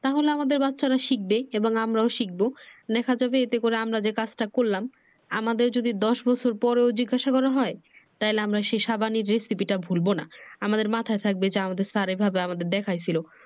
তাহলে আমাদের বাচ্চারা শিখবে এবং আমরাও শিখবো দেখা যাবে এতে করে আমরা যে কাজটা করলাম আমাদের যদি দশ বছর পরেও জিজ্ঞাসা করা হয়। তাহলে আমরা সেই সাবান এর recipe টা ভুলবো না। আমাদের মাথায় থাকবে যে আমাদের sir এইভাবে আমাদের দেখাইছিল।